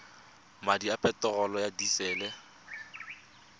madi a peterolo ya disele